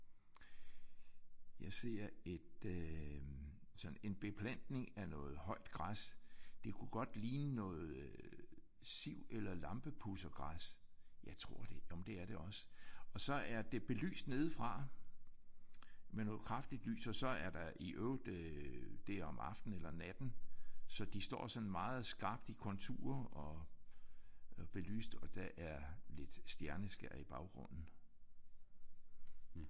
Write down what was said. Jeg ser et øh sådan en beplantning af noget højt græs. Det kunne godt ligne noget øh siv eller lampepudsergræs jeg tror det jamen det er det også. Og så er det belyst nedefra med noget kraftigt lys og så er der i øvrigt øh det er om aftenen eller natten så de står sådan meget skarpt i konturer og belyst og der er lidt stjerneskær i baggrunden